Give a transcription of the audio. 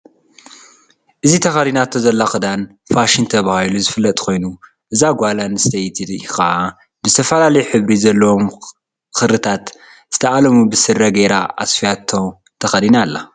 እዚ ተከዲናቶ ዘላ ክዳን ፋሸን ተባሂሉ ዝፍለጥ ኮይኑ እዛጓል ኣነስድተይቲከኣ ብዝተፈላለዩ ሕብሪ ዘለዎም ክሪታት ዝተኣለሙ ብስረ ገይራ ኣስፍያቶ ተከዲና ኣላ።